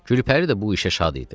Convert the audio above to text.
Gülpəri də bu işə şad idi.